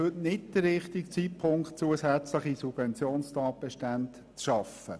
Es ist heute nicht der richtige Zeitpunkt, um zusätzliche Subventionstatbestände zu schaffen.